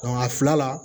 a fila la